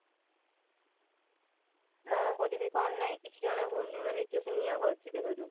କଣ କରିବି କଣ ନାଇଁ କିଛି ଜଣା ପଡୁନି ମାନେ ଏତେ ଜୋରସେ ନିଆଁ ବାହାରୁଛି ଦେହ ରୁ